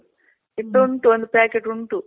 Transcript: ಇದುಂಟು ಒಂದು packet ಉಂಟು